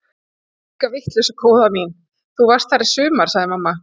Enga vitleysu góða mín, þú varst þar í sumar sagði mamma.